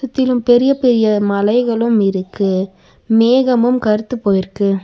சுத்திலு பெரிய பெரிய மலைகளு இருக்கு மேகமு கருத்துப்போய் இருக்கு.